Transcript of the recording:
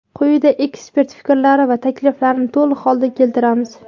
Quyida ekspert fikrlari va takliflarini to‘liq holda keltiramiz.